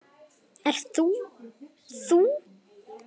Ert þú þú?